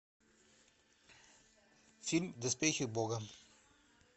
фильм доспехи бога